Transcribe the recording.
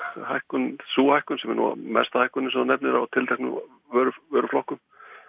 hækkun sú hækkun sem er nú hæsta hækkunin sem þú nefnir á tilteknum vöruflokkum